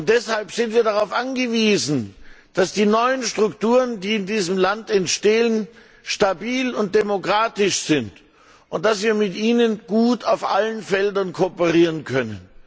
Deshalb sind wir darauf angewiesen, dass die neuen Strukturen, die in diesem Land entstehen, stabil und demokratisch sind, und dass wir mit ihnen gut auf allen Feldern kooperieren können.